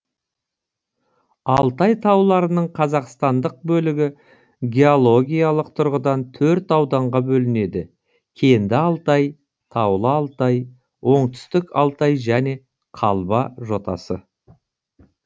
алтай тауларының қазақстандық бөлігі геологиялық тұрғыдан төрт ауданға бөлінеді кенді алтай таулы алтай оңтүстік алтай және қалба жотасы